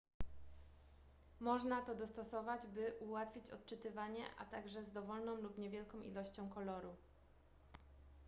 można to dostosować by ułatwić odczytywanie a także z dowolną lub niewielką ilością koloru